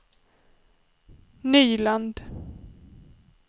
Nyland